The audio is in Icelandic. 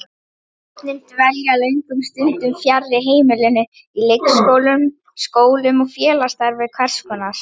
Börnin dvelja löngum stundum fjarri heimilinu, í leikskólum, skólum og félagsstarfi hvers konar.